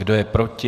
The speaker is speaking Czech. Kdo je proti?